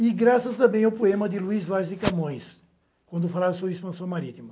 E graças também ao poema de Luiz Vaz de Camões, quando falava sobre expansão marítima.